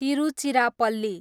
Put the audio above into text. Tiruchirappalli